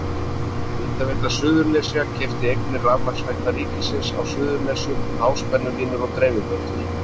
Hitaveita Suðurnesja keypti eignir Rafmagnsveitna ríkisins á Suðurnesjum, háspennulínur og dreifiveitur.